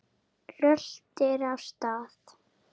Röltir af stað.